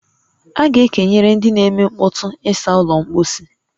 A ga-ekenyere ndị n'eme nkpọtu ịsa ụlọ mposi